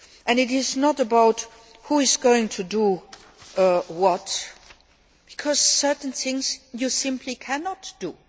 It is not about who is going to do what because certain things you simply cannot